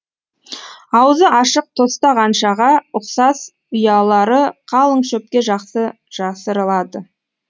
аузы ашық тостағаншаға ұқсас ұялары қалың шөпке жақсы жасырылады